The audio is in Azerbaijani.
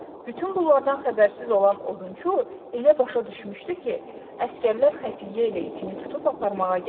Bütün bunlardan xəbərsiz olan odunçu elə başa düşmüşdü ki, əsgərlər xəfiyyə ilə itini tutub aparmağa gəliblər.